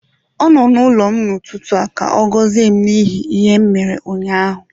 Ọ nọ n'ụlọ m n'ụtụtụ a ka ọ gọzie m n'ihi ihe m mere ụnyaahụ